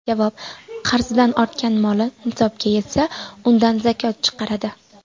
Javob: Qarzidan ortgan moli nisobga yetsa, undan zakot chiqaradi.